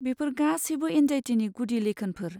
बेफोर गासैबो एंजाइटिनि गुदि लैखोनफोर।